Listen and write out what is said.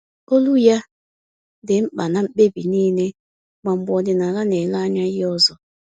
Olu ya dị mkpa na mkpebi niile, ma mgbe ọdịnala na-ele anya ihe ọzọ